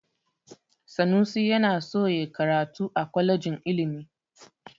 Sanusi yana so ya karatu a kwalejin ilimi.